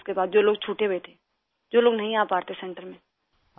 سر، پھر اس کے بعد، چھوٹے ہوئے تھے، جو لوگ نہیں آ پاتے سنٹر میں،